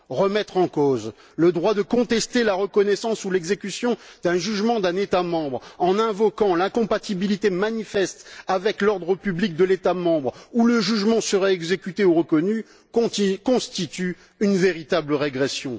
Remettre en cause le droit de contester la reconnaissance ou l'exécution d'un jugement d'un État membre en invoquant l'incompatibilité manifeste avec l'ordre public de l'État membre dans lequel le jugement serait exécuté ou reconnu constitue une véritable régression.